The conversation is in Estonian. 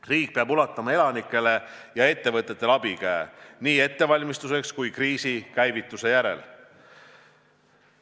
Riik peab ulatama elanikele ja ettevõtetele abikäe nii ettevalmistusteks kui ka kriisi käivitumise järel.